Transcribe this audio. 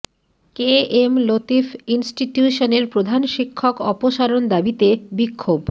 কে M Latif ইনস্টিটিউশনের প্রধান শিক্ষক অপসারণ দাবিতে বিক্ষোভ